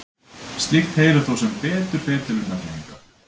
Slíkt heyrir þó sem betur fer til undantekninga.